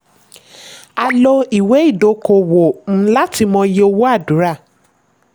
a lò ìwé ìdókòwò um láti mọ iye owó àdúrà.